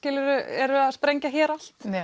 eru að sprengja hér allt